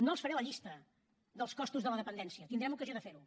no els faré la llista dels costos de la dependència tindrem ocasió de fer ho